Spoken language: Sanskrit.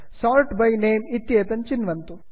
sort by name sort by name इत्येतत् चिन्वन्तु